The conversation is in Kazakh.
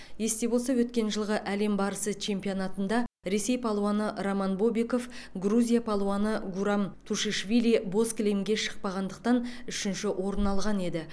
есте болса өткен жылғы әлем барысы чемпионатында ресей палуаны роман бобиков грузия палуаны гурам тушишвили боз кілемге шықпағандықтан үшінші орын алған еді